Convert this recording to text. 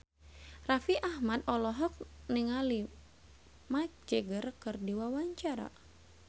Raffi Ahmad olohok ningali Mick Jagger keur diwawancara